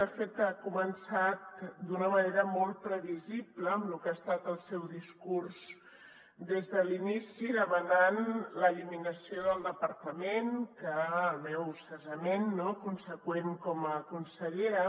de fet ha començat d’una manera molt previsible en el que ha estat el seu discurs des de l’inici demanant l’eliminació del departament el meu cessament conseqüent com a consellera